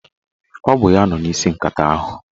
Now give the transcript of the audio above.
Ọ bụ ya nọ n'isi nkata ahụ